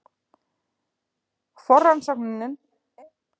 Forrannsóknir eru hins vegar seinlegar, og þarf að ætla þeim nægan tíma.